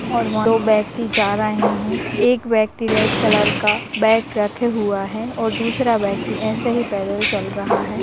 और वह दो व्यक्ति जा रहें हैं एक व्यक्ति रेड कलर का बैग रखा हुआ है और दुसरा व्यक्ति ऐसे ही पैदल चल रहा है।